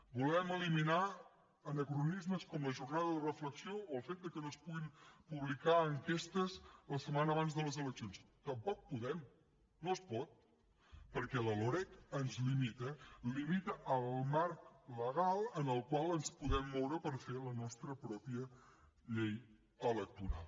volem eliminar anacronismes com la jornada de reflexió o el fet que no es puguin publicar enquestes la setmana abans de les eleccions tampoc podem no es pot perquè la loreg ens limita limita el marc legal en el qual ens podem moure per fer la nostra pròpia llei electoral